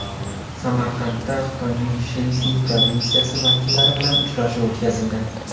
Samarqandda Xitoyning Shensi provinsiyasi vakillari bilan uchrashuv o‘tkazildi.